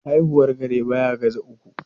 Haihuwar kare baya ga za uku.